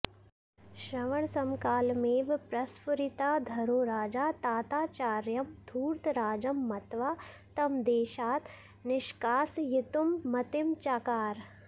श्रवणसमकालमेव प्रस्फुरिताधरो राजा ताताचार्यं घूर्तराजं मत्वा तं देशात् निष्कासयितुं मतिं चकार